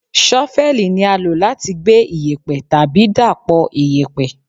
ṣọ́fẹ́lì ni a lo lati gbe iyẹ̀pẹ̀ tabi dapọ iyẹ̀pẹ̀